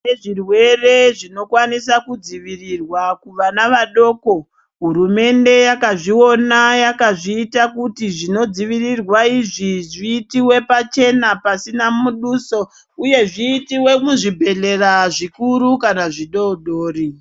Kune zvirwere zvinokwanisa kudzivirirwa kuvana vadoko hurumende yakazviona yakazviita kuti zvinodzivirirwa izvi zviitiwe pachena pasina muduso uye zviitiwe muzvibhedhlera zvikuru kana zvidodori.